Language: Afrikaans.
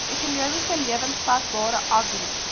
ekonomies lewensvatbare agri